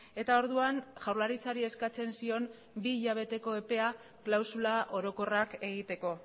eta orduan jaurlaritzari eskatzen zion bi hilabeteko epea klausula orokorrak egiteko